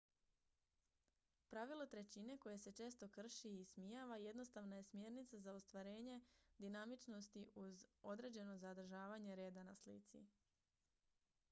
pravilo trećine koje se često krši i ismijava jednostavna je smjernica za stvaranje dinamičnosti uz određeno zadržavanje reda na slici